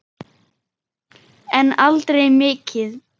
En aldrei mikið.